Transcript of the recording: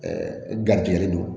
garijigɛ don